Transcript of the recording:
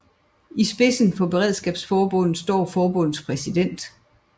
I spidsen for Beredskabsforbundet står forbundets præsident